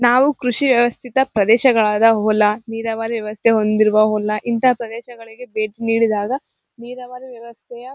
ನಾವು ಕೃಷಿವ್ಯವಸ್ಥಿತ ಪ್ರದೇಶಗಳಾದ ಹೊಲಾ ನೀರಾವರಿ ವ್ಯವಸ್ಥೆ ಹೊಂದಿರುವ ಹೊಲಾ ಇಂತಹ ಪ್ರದೇಶಗಳಿಗೆ ಬೇಟಿ ನೀಡಿದಾಗ ನೀರಾವರಿ ವ್ಯವಸ್ಥೆಯ --